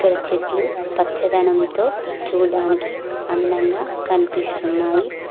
ఇక్కడ చెట్లు పచ్చదనంతో చూడడానికి అందంగా కనిపిస్తున్నాయి.